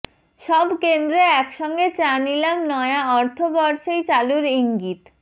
সব কেন্দ্রে একসঙ্গে চা নিলাম নয়া অর্থবর্ষেই চালুর ইঙ্গিত